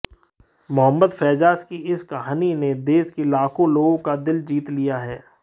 मुहम्मद फैयाज की इस कहानी ने देश के लाखों लोगों का दिल जीत लिया है